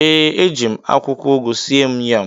ee, eji m akwụkwọ ugu sie m yam.